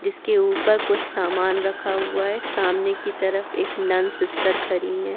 जिसके ऊपर कुछ सामान रखा हुआ है सामने की तरफ एक नन सिस्टर खड़ी है।